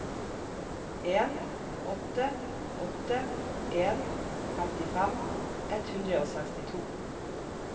en åtte åtte en femtifem ett hundre og sekstito